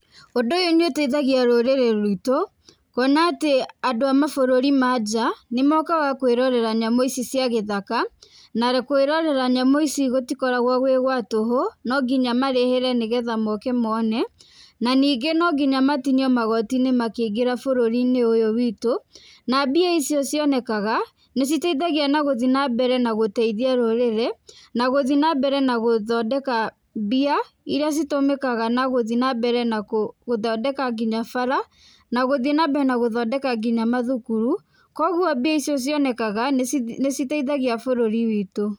Ũndũ ũyũ nĩ ũteithagia rũrĩrĩ rwitũ, kuona atĩ andũ a mabũrũri ma nja, nĩ mokaga kũĩrorera nyamũ ici cia gĩthaka, na kũĩrorera nyamũ ici gũtikoragwo gwĩ gwa tũhũ no nginya marĩhĩre, nĩgetha moke mone na ningĩ no nginya matinio magoti-inĩ makĩingĩra bũrũri-inĩ ũyũ witũ, na mbia icio cionekaga nĩ citeithagia nagũthi na mbere na gũteithia rũrĩrĩ, na gũthi na mbere na gũthondeka mbia iria citũmĩkaga na gũthi na mbere na gũthondeka nginya bara, na gũthi na mbere na gũthondeka nginya mathukuru, koguo mbia icio cionekaga nĩ citeithagia bũrũri witũ.